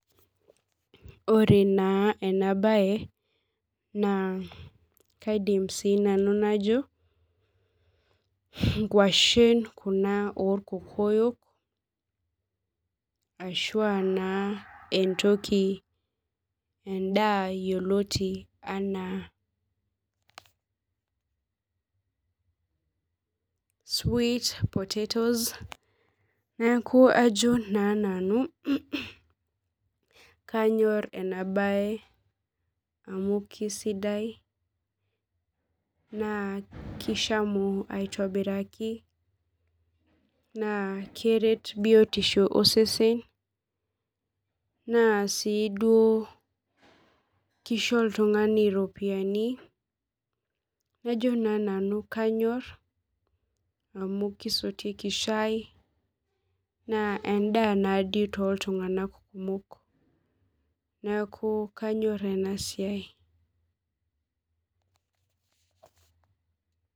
Ore naa enabaye naa kaidim sii nanu najo, ingwashen kuna olkokoyo ashu aa naa entoki endaa yeloti anaa [sweetpotatoes naaku ajo naa nanu kanyor ena baye amu kesidai, naa keshamu aitobiraki naa keret biotisho osesen, naa sii duo keisho iltungani iropiyiani, najo naa nanu kanyor amuu kesotieki shai naa endaa nadii too ltungana kumok, naaku kanyorr ena siai.